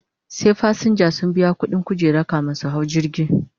Sai fasinja sun biya ƙuɗin kujera kamin su hau jirgi